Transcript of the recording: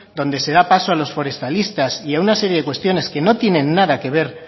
donde se da paso a los forestalistas y a una serie de cuestiones que no tiene nada que ver